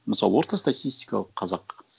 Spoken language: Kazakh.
мысалы орта статистикалық қазақ